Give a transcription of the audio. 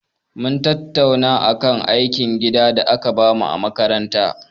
Mun tattauna akan aikin gida da aka bamu a makaranta.